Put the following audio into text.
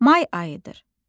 May ayıdır.